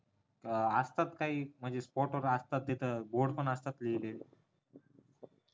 असतात काही म्हणजे फोटो असतात तिथं board पण असतात लिहिलेले